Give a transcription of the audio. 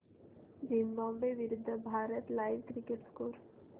Zimbabwe विरूद्ध Bharat live cricket score